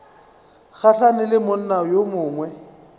gahlane le monna yo mongwe